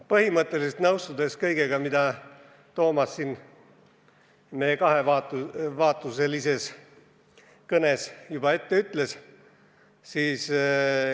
Ma põhimõtteliselt nõustun kõigega, mida Toomas siin meie kahevaatuselises kõnes juba ütles.